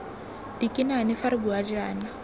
dikinane fa re bua jaana